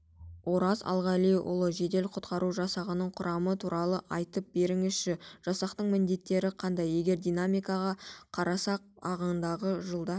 ораз алғалиұлы жедел-құтқару жасағының құрамы туралы айтып беріңізші жасақтың міндеттері қандай егер динамикаға қарасақ ағымдағы жылда